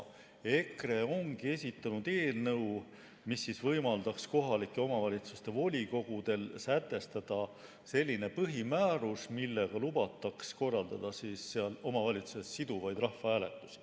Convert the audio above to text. EKRE ongi esitanud eelnõu, mis võimaldaks kohalike omavalitsuste volikogudel sätestada selline põhimäärus, millega lubataks korraldada omavalitsustes siduvaid rahvahääletusi.